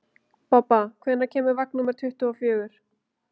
Bobba, hvenær kemur vagn númer tuttugu og fjögur?